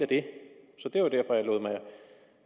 det